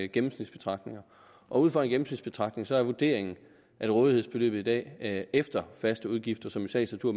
gennemsnitsbetragtninger ud fra en gennemsnitsbetragtning er vurderingen at rådighedsbeløbet i dag efter faste udgifter som i sagens natur